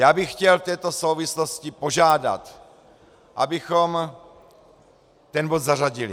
Já bych chtěl v této souvislosti požádat, abychom ten bod zařadili.